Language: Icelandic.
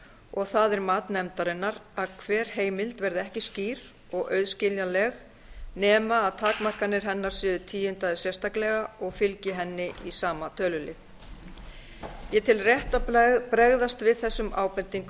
og það er mat nefndarinnar að hver heimild verði ekki skýr og auðskiljanleg nema að takmarkanir hennar séu tíundaðar sérstaklega og fylgi henni í sama tölulið ég tel rétt að bregðast við þessum ábendingum